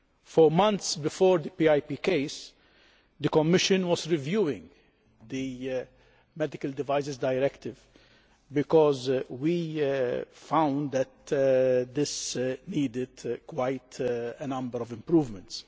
For months before the PIP case, the Commission was reviewing the Medical Devices Directive, because we found that it needed quite a number of improvements.